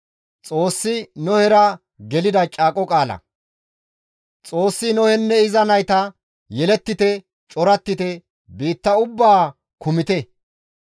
Xoossi Nohenne iza nayta, «Yelettite; corattite; biitta ubbaa kumite.